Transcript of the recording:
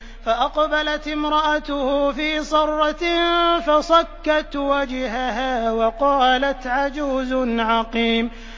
فَأَقْبَلَتِ امْرَأَتُهُ فِي صَرَّةٍ فَصَكَّتْ وَجْهَهَا وَقَالَتْ عَجُوزٌ عَقِيمٌ